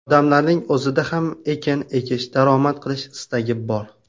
Odamlarning o‘zida ham ekin ekish, daromad olish istagi bor.